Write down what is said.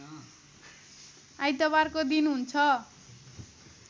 आइतबारको दिन हुन्छ